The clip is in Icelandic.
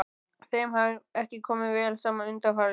Þeim hafði ekki komið vel saman undanfarið.